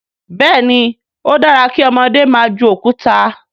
béèni o dára kí ọmọdé má jù Òkúta.